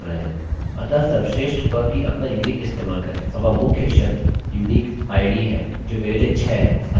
किन्तु इस पेज को रिफ्रेशrefresh करने पर कुछ नहीं हुआ क्योंकि हम केवल कमांड रन कर रहे हैं